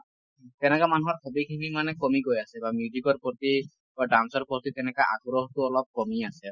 তেনেকে মানুহৰ hobby খিনি মানে কমি গৈ আছে বা music ৰ প্ৰতি বা dance ৰ প্ৰতি তেনকে আগ্ৰহটো অলপ কমি আছে